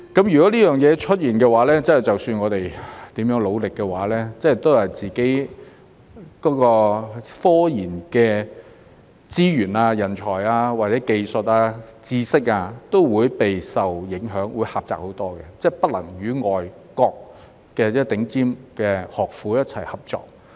如果這件事出現，無論我們如何努力，自己的科研資源、人才、技術或知識都會備受影響，會狹窄很多，不能與外國的頂尖學府一起合作。